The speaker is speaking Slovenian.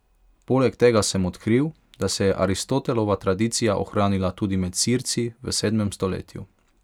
Poleg tega sem odkril, da se je Aristotelova tradicija ohranila tudi med Sirci v sedmem stoletju.